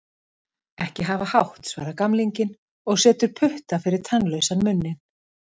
Ekki hafa hátt, svarar gamlinginn og setur putta fyrir tannlausan munninn.